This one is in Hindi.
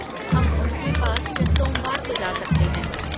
हम उनके पास सोमवार को जा सकते हैं।